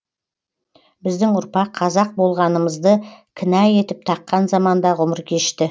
біздің ұрпақ қазақ болғанымызды кінә етіп таққан заманда ғұмыр кешті